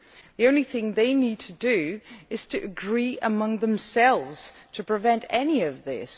The only thing they need to do is to agree among themselves in order to prevent any of this.